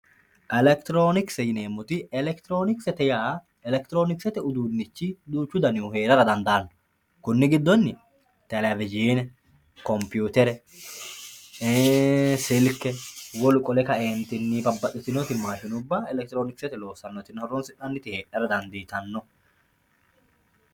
Elekitironkisete yineemmoti, elekitironkisete yaa elekitironkisete uduunichi duuchu danihu heerara dandaano koni giddonni television, koputere, silke wolu qole kaentinni siwilubba elekitironkisete horonsi'nanniti heedhara dandiittano.